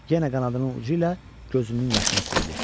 Yenə qanadının ucu ilə gözünün yaşını sildi.